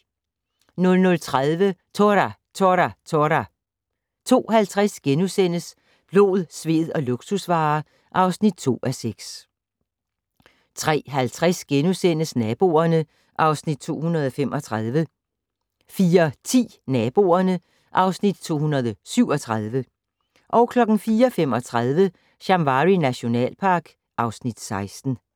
00:30: Tora! Tora! Tora! 02:50: Blod, sved og luksusvarer (2:6)* 03:50: Naboerne (Afs. 235)* 04:10: Naboerne (Afs. 237) 04:35: Shamwari nationalpark (Afs. 16)